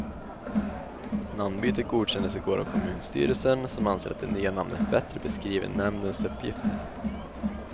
Namnbytet godkändes igår av kommunstyrelsen, som anser att det nya namnet bättre beskriver nämndens uppgifter.